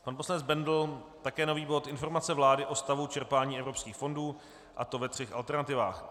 Pan poslanec Bendl také nový bod Informace vlády o stavu čerpání evropských fondů, a to ve třech alternativách.